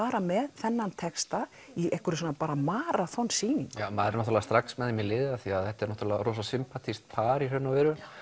fara með þennan texta í svona maraþon sýningu já maður er strax með þeim í liði því þetta er voða sympatískt par í raun og veru